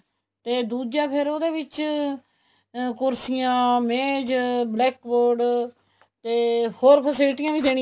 ਤੇ ਦੂਜਾ ਫ਼ੇਰ ਉਹਦੇ ਵਿੱਚ ਅਹ ਕੁਰਸੀਆਂ ਮੇਜ black board ਤੇ ਹੋਰ facilities ਵੀ ਦੇਣੀਆਂ